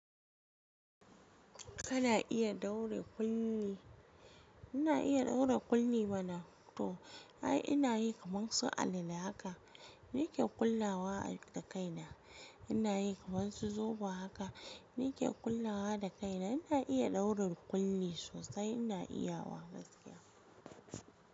Kana iya ɗaure ƙulli? Ina iya ɗaure ƙulli mana. Toh, ai ina yi kaman su alale haka, ni ke ƙullawa da kaina. Ina yi kamar su zobo haka, ni ke ƙullawa da kaina. Ina iya ɗauren ƙulli sosai, ina iya wa gaskiya.